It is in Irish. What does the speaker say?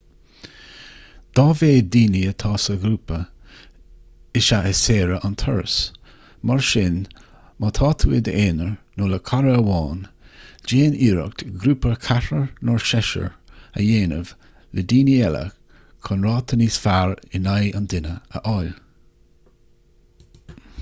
dá mhéad daoine atá sa ghrúpa is ea is saoire an turas mar sin má tá tú i d'aonar nó le cara amháin déan iarracht grúpa ceathrair nó seisir a dhéanamh le daoine eile chun ráta níos fearr in aghaidh an duine a fháil